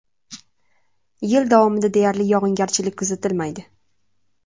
Yil davomida deyarli yog‘ingarchilik kuzatilmaydi.